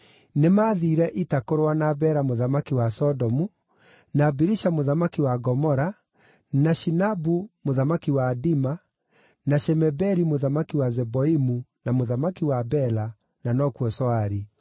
nĩmathiire ita kũrũa na Bera mũthamaki wa Sodomu, na Birisha mũthamaki wa Gomora, na Shinabu mũthamaki wa Adima, na Shemeberi mũthamaki wa Zeboimu na mũthamaki wa Bela (na nokuo Zoari).